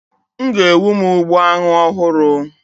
M ga-ewu m ugbo anu ohuru